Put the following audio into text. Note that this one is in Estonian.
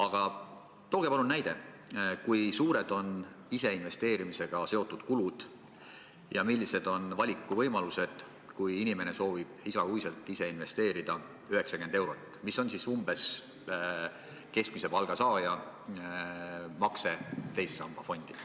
Aga tooge palun näide, kui suured on ise investeerimisega seotud kulud ja millised on valikuvõimalused, kui inimene soovib iga kuu ise investeerida 90 eurot – see on umbes keskmise palga saaja makse teise samba fondi.